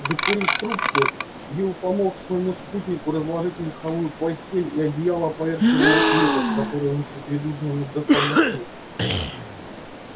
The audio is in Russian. докурив трубку билл помог своему спутнику разложить меховую постель и одеяло поверх еловых веток которые он ещё перед ужином набросал на снег